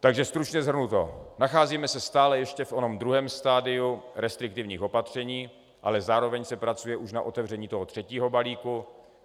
Takže stručně shrnuto, nacházíme se stále ještě v onom druhém stadiu restriktivních opatření, ale zároveň se pracuje už na otevření toho třetího balíku.